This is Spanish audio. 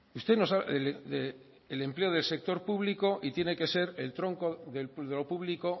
usted nos habla del empleo del sector público y tiene que ser el tronco de lo público